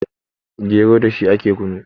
gero da shi ake kunu